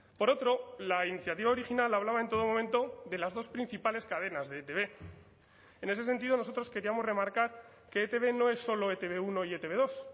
por otro la iniciativa original hablaba en todo momento de las dos principales cadenas de etb en ese sentido nosotros queríamos remarcar que etb no es solo e te be uno y e te be dos